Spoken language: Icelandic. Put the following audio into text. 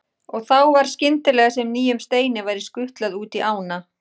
Og þá var skyndilega sem nýjum steini væri skutlað út í ána.